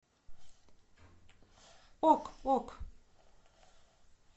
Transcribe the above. ок ок